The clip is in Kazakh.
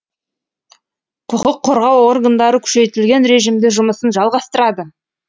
құқық қорғау органдары күшейтілген режимде жұмысын жалғастырады